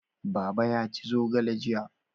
Baba ya ci zogale jiya